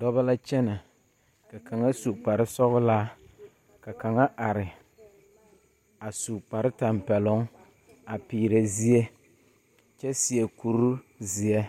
Dͻbͻ la kyԑnԑ, ka kaŋa su kpare sͻgelaa, ka kaŋa are, a su kpare tampԑloŋ a peerԑ zie kyԑ seԑ kuri zeԑ,